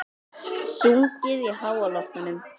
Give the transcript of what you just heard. Sungið í háloftunum